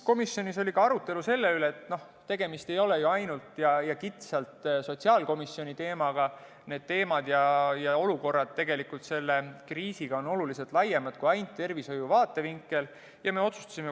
Komisjonis oli ka arutelu selle üle, et tegemist ei ole ju ainult kitsalt sotsiaalkomisjoni teemaga – need teemad ja olukorrad kriisioludes on oluliselt laiemad kui ainult tervishoiu vaatevinkel.